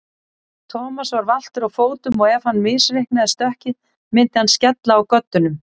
Thomas var valtur á fótum og ef hann misreiknaði stökkið myndi hann skella á göddunum.